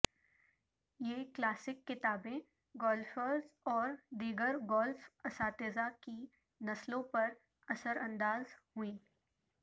یہ کلاسک کتابیں گالفیرز اور دیگر گولف اساتذہ کی نسلوں پر اثر انداز ہوئیں